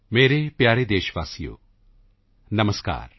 ਮੇਰੇ ਪਿਆਰੇ ਦੇਸ਼ ਵਾਸੀਓ ਨਮਸਕਾਰ